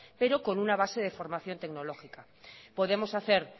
pero con una base de formación tecnológica podemos hacer